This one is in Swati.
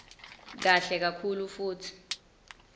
kahle kakhulu futsi